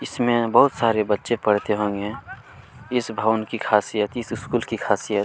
इसमें बहुत सारे बच्चे पढ़ते होंगे इस भवन की खासियत इस स्कूल की खासियत --